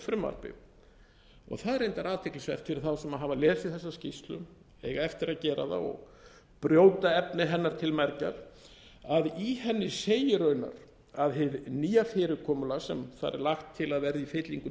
frumvarpi það er reyndar athyglisvert fyrir þá sem hafa lesið þessa skýrslu eiga eftir að gera það og brjóta efni hennar til mergjar að í henni segir raunar að hið nýja fyrirkomulag sem þar er lagt til að verði í